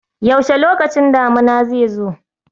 Yaushe lokacin damuna zai zo?